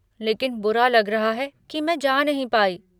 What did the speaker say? लेकिन बुरा लग रहा है की मैं जा नहीं पाई।